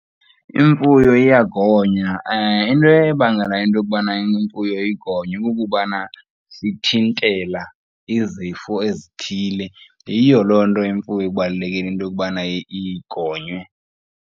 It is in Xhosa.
Imfuyo iyagonywa, into ebangela into yokubana imfuyo igonywe kukubana sithintela izifo ezithile. Yiyo loo nto imfuyo ibalulekile into yokubana igonywe.